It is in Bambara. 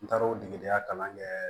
N taara o degedenya kalan kɛɛ